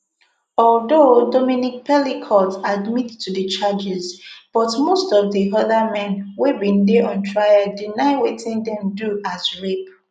although dominique pelicot admit to di charges but most of di oda men wey bin dey on trial deny wetin dem do as rape